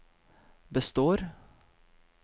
består